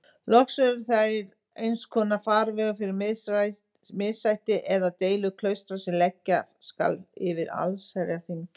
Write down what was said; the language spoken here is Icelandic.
Loks eru þeir einskonar farvegur fyrir missætti eða deilur klaustra sem leggja skal fyrir allsherjarþingið.